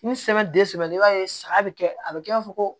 Ni i b'a ye saga bɛ kɛ a bɛ kɛ i b'a fɔ ko